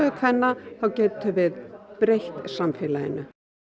kvenna þá getum við breytt samfélaginu